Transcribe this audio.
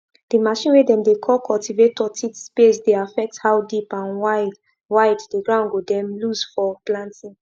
the machine way dem dey call cultivator teeth space dey affect how deep and wide wide the ground go dem loose for planting